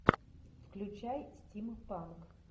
включай стим панк